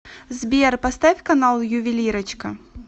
сбер поставь канал ювелирочка